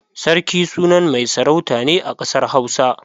Sarki sunan mai sarauta ne a ƙasar Hausa.